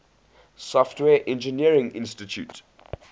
software engineering institute